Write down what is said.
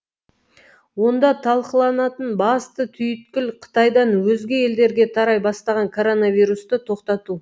онда талқыланатын басты түйіткіл қытайдан өзге елдерге тарай бастаған коронавирусты тоқтату